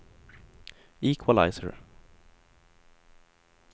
equalizer